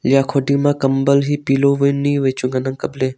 lia kho ding ma kambal he pillow vai nyi vai chu ngan ang kapley.